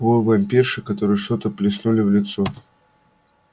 вой вампирши которой что-то плеснули в лицо